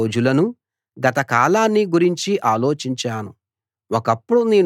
గతించిన రోజులనూ గత కాలాన్నీ గురించి ఆలోచించాను